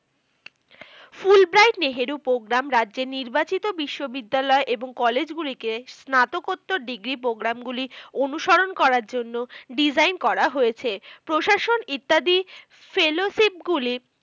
Fulbright Nehru programme রাজ্যের নির্বাচিত বিশ্ব বিদ্যালয় এবং college গুলিকে স্নাতকোত্তোর degree programme গুলি অনুসরণ করার জন্য design করা হয়েছে। প্রশাসন ইত্যাদি fellowship গুলি